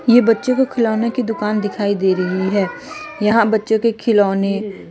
ये बच्चों को खिलौने की दुकान दिखाई दे रही है यहां बच्चों के खिलौने--